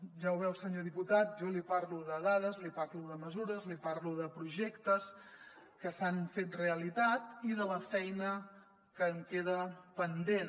ja ho veu senyor diputat jo li parlo de dades li parlo de mesures li parlo de projectes que s’han fet realitat i de la feina que en queda pendent